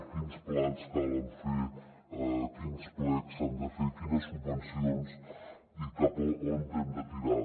quins plans calen fer quins plecs s’han de fer quines subvencions i cap a on hem de tirar